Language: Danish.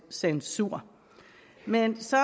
censur men så